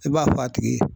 I b'a fɔ a tigi ye